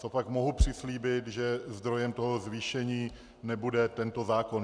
Co pak mohu přislíbit, že zdrojem toho zvýšení nebude tento zákon.